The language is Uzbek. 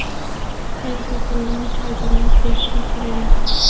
Er xotinidan choy damlab berishni so‘ragan.